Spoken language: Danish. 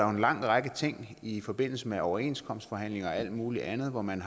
en lang række ting i forbindelse med overenskomstforhandlinger og alt muligt andet hvor man